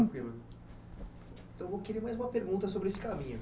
Então, eu queria mais uma pergunta sobre esse caminho.